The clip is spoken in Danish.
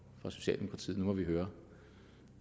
fra socialdemokratiet nu må vi høre